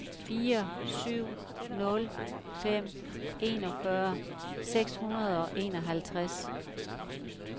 fire syv nul fem enogfyrre seks hundrede og enoghalvtreds